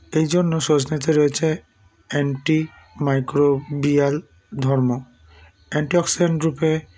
এইজন্য সজনেতে রয়েছে anti microbial ধর্ম antioxidant রূপে